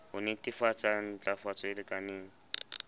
ho netefatsa ntlafatso e lekaneng